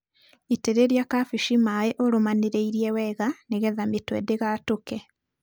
Itĩrĩria kabeci maĩ ũrũmanĩrĩirie wega nĩgetha mĩtwe ndĩgatũke.